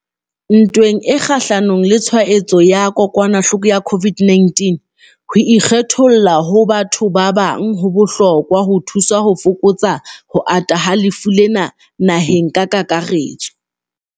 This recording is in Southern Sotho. Ntweng e kgahlano le tshwaetso ya kokwanahloko ya COVID-19, ho ikgetholla ho ba bathong ba bang ho bohlokwa ho thusa ho fokotsa ho ata ha lefu lena naheng ka kakaretso.